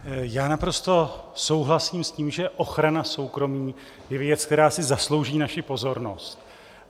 Já naprosto souhlasím s tím, že ochrana soukromí je věc, která si zaslouží naši pozornost.